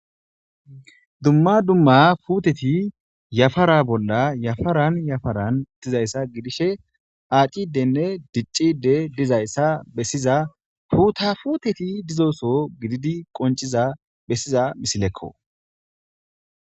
Dumma dumma puteti yafara bolla yafaran yafaran dizayssa gidishe aacidenne diccide dizayssa bessiza fuuta futeti dizoso gididi qonciza bessiza misilekko.